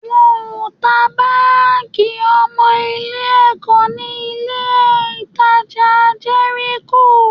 Wọn ò ta báàgì ọmọ Ilé-ẹ̀kọ́ ní ilé-ìtajà Jẹ́ríkò